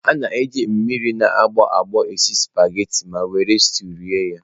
A na-eji mmiri na agbọ agbo esi sụpaghetị ma were steụụ rie ya.